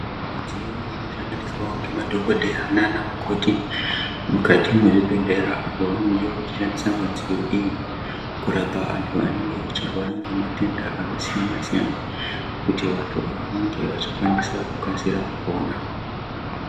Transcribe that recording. Midziyo inoshandiswavo ngemadhogodheya nana mukoti mukati mwezvibhedhlera. apo pavanenge vachishandisa midziyo iyi kurapa antu anenge achirwara ngematenda akasiyana-siyana, kuti vantu ava vange vachikwanisa kukasira kupona.